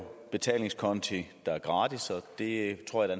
betalingskonti der er gratis og det tror jeg